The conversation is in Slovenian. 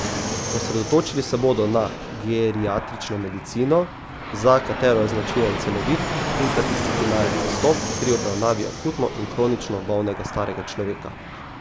Osredotočili se bodo na geriatrično medicino, za katero je značilen celovit, interdisciplinaren pristop pri obravnavi akutno in kronično bolnega starega človeka.